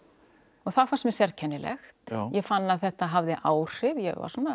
og það fannst mér sérkennilegt ég fann að þetta hafði áhrif ég